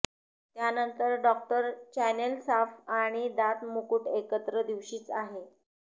त्यानंतर doctor channel साफ आणि दात मुकुट एकत्र दिवशीच आहे